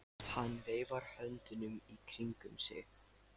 Hann veifar höndunum í kringum sig.